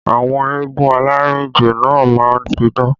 Àwọn eégún alárìnjó náà má ń pidán